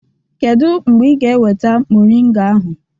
Kedu mgbe ị ga-eweta mọrịnga ahụ?